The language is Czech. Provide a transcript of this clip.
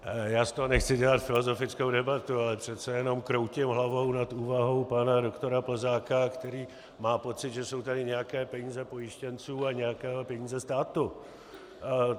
Já z toho nechci dělat filozofickou debatu, ale přece jenom kroutím hlavou nad úvahou pana doktora Plzáka, který má pocit, že jsou tady nějaké peníze pojištěnců a nějaké peníze státu.